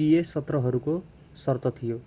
pa सत्रहरूको शर्त थियो